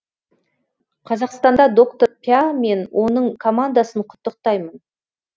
қазақстанда доктор пя мен оның командасын құттықтаймын